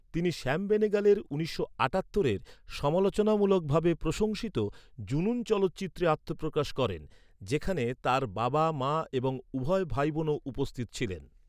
তিনি শ্যাম বেনেগালের উনিশশো আটাত্তরের সমালোচনামূলকভাবে প্রশংসিত জুনুন চলচ্চিত্রে আত্মপ্রকাশ করেন, যেখানে তাঁর বাবা মা এবং উভয় ভাইবোনও উপস্থিত ছিলেন।